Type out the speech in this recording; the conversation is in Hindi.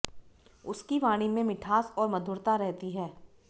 उसकी वाणी में मिठास और मधुरता रहती है